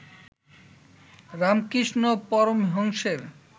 Ramakrishna পরমহংসের